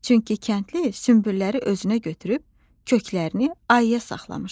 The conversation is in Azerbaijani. Çünki kəndli sümbülləri özünə götürüb köklərini ayıya saxlamışdı.